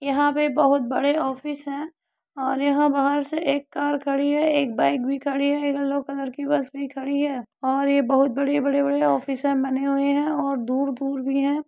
यहाँ पे बहुत बड़े ऑफिस हैं और यहां बाहर से एक कार खड़ी है एक बाइक भी खड़ी है एक यलो कलर की बस भी खड़ी है और ये बहुत बड़े बड़े ऑफिस बने हुए हैं और दूर दूर भी हैं।